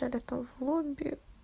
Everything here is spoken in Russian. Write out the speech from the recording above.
я готов лобби